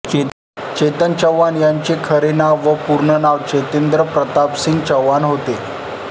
चेतन चौहान यांचे खरे नाव व पूर्ण नाव चेतेंद्र प्रतापसिंग चौहान होते